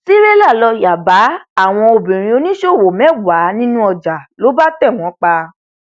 tìrẹlà lóò yá bá àwọn obìnrin oníṣòwò mẹwàá nínú ọjà ló bá tẹ wọn pa